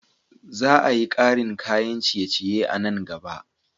Za a yi karin kayan ciye-ciye a nan gaba.